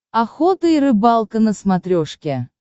охота и рыбалка на смотрешке